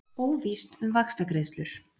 Óvíst um vaxtagreiðslur